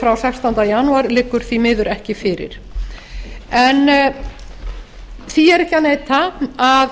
frá sextánda janúar liggur því miður ekki fyrir en því er ekki að neita að